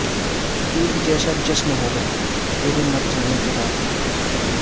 عید جیسا جشن ہو گا تیرے مر جانے کے بعد